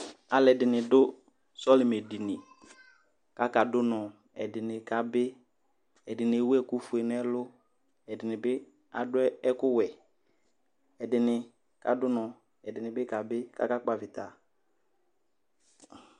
alu ɛdini du sɔlimɛ dini kaka du unɔ , ɛdini kabi , ɛdini ewu ɛku fue n'ɛlu , ɛdini bi adu ɛku wɛ, ɛdini bi kadu unɔ , ɛdini bi kabi kaka kpavita